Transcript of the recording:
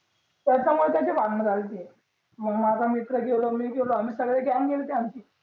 कोयता कोयताचे भांडण झालते मंग माझा मित्र गेलो मी गेला आम्ही सगळी गॅंग गेल्ती आमची